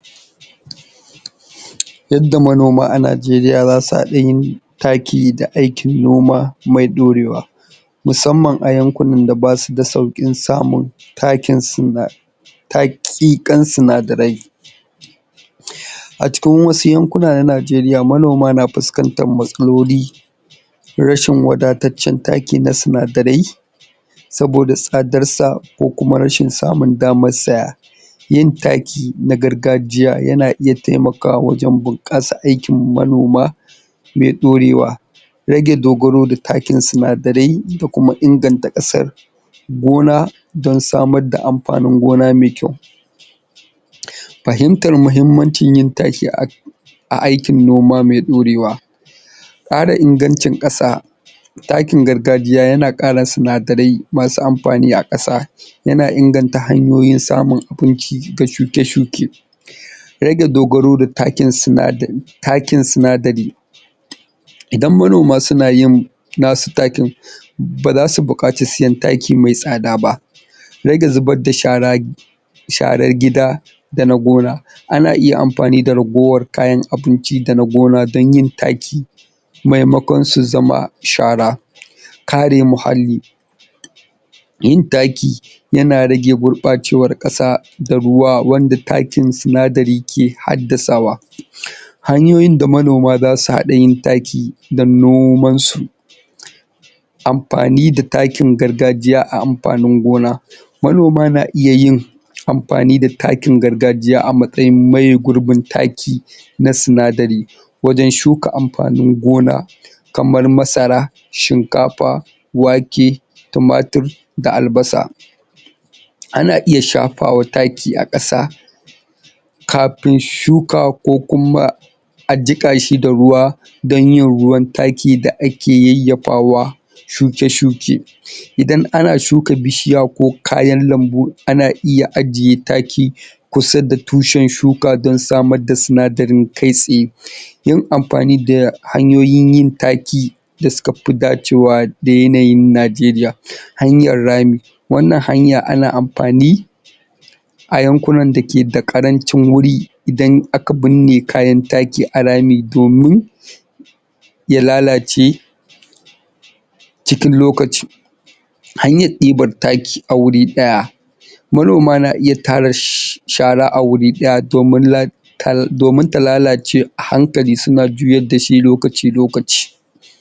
Yadda manoma a Najeriya za su haɗa yin taki da aikin noma, mai ɗorewa. musamman a yankunan da basu da sauƙin samun takin sinna, taki kan sinadarai. A cikin wasu yankuna na Najeriya, manoma na fuskantan matsaloli rashin wadataccen taki na sinadarai, saboda tsadar sa, ko kuma rashin samun damar saya. Yin taki na gargajiya, yana iya taimakawa wajan bunƙasa aikin manoma, me ɗorewa. Rage dogaro da takin sinadarai, da kuma inganta ƙasan gona, don samar da amfanin gona mai kyau. Fahimtar mahimmancin yanda ake aikin noma mai ɗorewa. Ƙara ingancin ƙasa. Takin gargajiya yana ƙara sinadarai, masu amfani a ƙasa, yana inganta hanyoyin samun abinci ga shuke-shuke. Rage dogaro da takin sinadari takin sinadari. Idan manoma suna yim nasu takin, ba zasu buƙaci siyen taki mai tsada ba. Rage zubad da shara, sharar gida da na gona. Ana iya amfani da ragowar kayan abinci da na gona, don yin taki, maimakon su zama shara. Ka re muhalli. Yin taki, yana rage gurɓacewar ƙasa da ruwa, wanda takin sinadari ke haddasawa. Hanyoyin da manoma zasu hada yin taki, dan noman su. Amfani da takin gargajiya a amfanin gona Manoma na iya yin amfani da takin gargajiya, a matsayin maye gurbin taki na sinadari, wajan shuka amfanin gona, kamar masara, shinkafa, wake, tumatir, da albasa. Ana iya shafawa taki a ƙasa kafin shuka, ko kuma a jiƙa shi da ruwa, don yin ruwan taki da ake yayyafawa shuke-shuke. Idan ana shuka bishiya ko kayan lambu, ana iya ajiye taki kusa da tushen shuka, don samar da sinadarin kai tsaye. Yin amfani da hanyoyin yin taki, da suka fi dacewa da yanayin Najeriya. Hanyar rami, wannan hanya ana amfani a yankunan da ke da ƙarancin wuri, idan aka bunne kayan taki a rami, domin ya lalace cikin lokaci. Hanyar ɗibar taki a wuri ɗaya. Manoma na iya tara shara a wuri ɗaya, domin ta la domin ta lalace a hankli, suna juyad dashi lokaci-lokaci.